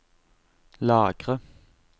lagre